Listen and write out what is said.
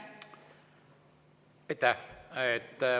Aitäh!